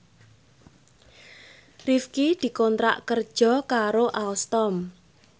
Rifqi dikontrak kerja karo Alstom